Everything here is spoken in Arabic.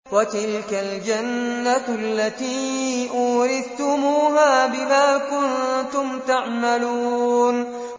وَتِلْكَ الْجَنَّةُ الَّتِي أُورِثْتُمُوهَا بِمَا كُنتُمْ تَعْمَلُونَ